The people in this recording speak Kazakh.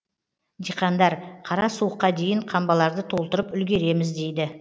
диқандар қара суыққа дейін қамбаларды толтырып үлгереміз дейді